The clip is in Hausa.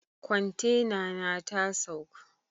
Kwantena na ta saukl.